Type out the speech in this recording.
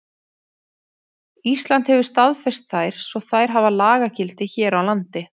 Ísland hefur staðfest þær svo þær hafa lagagildi hér á landi.